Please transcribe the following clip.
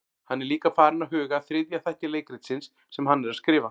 Hann er líka farinn að huga að þriðja þætti leikritsins sem hann er að skrifa.